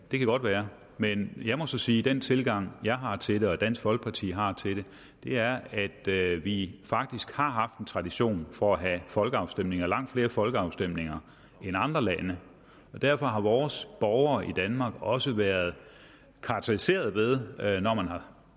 det kan godt være men jeg må så sige at den tilgang jeg har til det og dansk folkeparti har til det er er at vi faktisk har haft en tradition for at have folkeafstemninger langt flere folkeafstemninger end andre lande derfor har vores borgere i danmark også været karakteriseret ved når man har